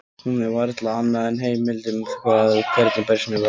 Hún er varla annað en heimild um það hvernig persónunni var lýst hér.